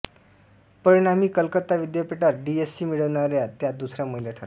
परिणामी कलकत्ता विद्यापीठात डीएससी मिळवणाऱ्या त्या दुसऱ्या महिला ठरल्या